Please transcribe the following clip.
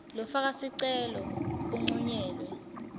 lofaka sicelo uncunyelwe